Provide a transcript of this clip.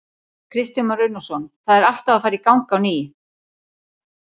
Kristján Már Unnarsson: Það er allt að fara í gang á ný?